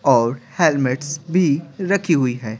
और हेलमेट्स भी रखी हुई है।